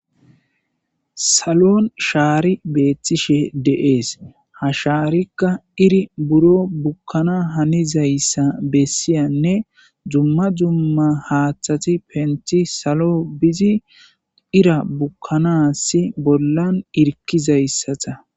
Salon shaari beethtishe dees. Ha shaarikka iri biro bukkana haniza issa bessiyanne dumma dumma haaththati penti salo bizi ira bukkanassi bollan irkiza issata